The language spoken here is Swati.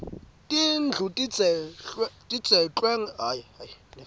tindlu tidzeklwe ngetjani